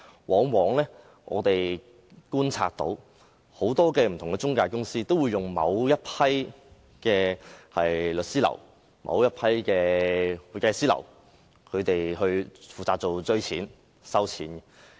根據我們的觀察，很多財務中介公司均會聘用某一批律師樓或會計師樓負責追討或收取費用。